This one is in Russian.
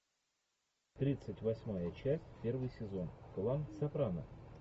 тридцать восьмая часть первый сезон клан сопрано